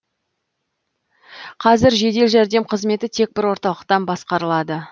қазір жедел жәрдем қызметі тек бір орталықтан басқарылады